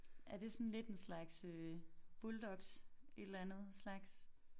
Er det sådan lidt en slags øh Bulldogs et eller andet slags?